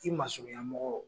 I masurunya mɔgɔ.